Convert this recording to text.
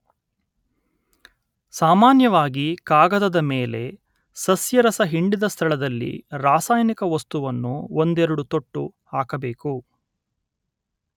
ಸಾಮಾನ್ಯವಾಗಿ ಕಾಗದದ ಮೇಲೆ ಸಸ್ಯರಸ ಹಿಂಡಿದ ಸ್ಥಳದಲ್ಲಿ ರಾಸಾಯನಿಕ ವಸ್ತುವನ್ನು ಒಂದೆರಡು ತೊಟ್ಟು ಹಾಕಬೇಕು.